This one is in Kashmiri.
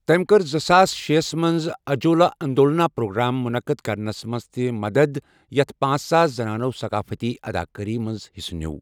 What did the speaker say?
تٔمۍ کٔرزٕساس شے ہَس منٛز 'اجوالا اندولنا' پروگرام مُنعقد کرنَس منٛز تہِ مدد یتھ پانژھ ساس زنانو ثقافتی اداکٲری منٛز حصہٕ نیٚو۔